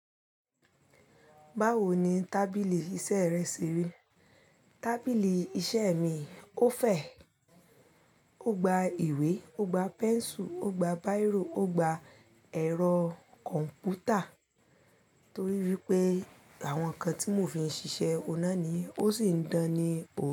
Báwo ni tábìlì iṣẹ́ rẹ ṣe rí? Tábìlì iṣẹ́ mi ó fẹ̀, ó gba ìwé, ó gba pẹ́nsù, ó gba bírò, ó gba ẹ̀rọ kọ̀m̀pútà torí wípé àwọn ǹkan tí mò fí ń ṣiṣẹ́ oun ná ni ó sì ń dání.